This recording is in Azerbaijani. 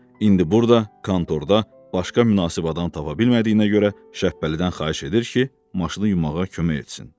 İndi burda, kontorda, başqa münasib adam tapa bilmədiyinə görə, Şəbpəlidən xahiş edir ki, maşını yumağa kömək etsin.